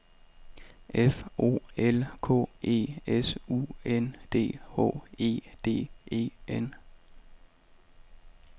F O L K E S U N D H E D E N